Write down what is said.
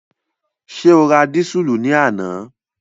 Ṣé o ra dísùlù ní àná?